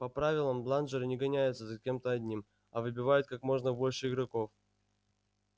по правилам бладжеры не гоняются за кем-то одним а выбивают как можно больше игроков